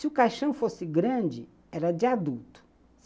Se o caixão fosse grande, era de adulto.